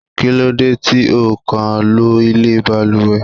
Kí lóde tí ó kàn lọ ilé baluwe!